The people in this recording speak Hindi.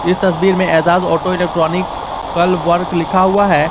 इस तस्वीर में एजाज ऑटो इलेक्ट्रॉनिकल वर्क लिखा हुआ है।